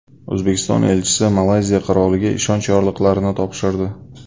O‘zbekiston elchisi Malayziya Qiroliga ishonch yorliqlarini topshirdi.